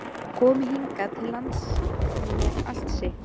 Komi hingað til lands með allt sitt?